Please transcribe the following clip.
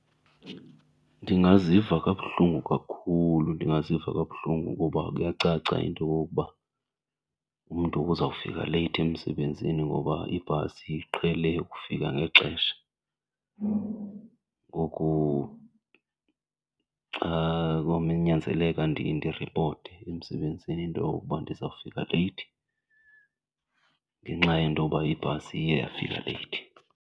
Ndingaziva kabuhlungu kakhulu, ndingaziva kabuhlungu kuba kuyacaca into yokokuba umntu uzawufika leyithi emsebenzini ngoba ibhasi iqhele ukufika ngexesha. Ngoku xa konyanzeleka ndiripote emsebenzini into yokokuba ndizawufika leyithi ngenxa yento yoba ibhasi iye yafika leyithi.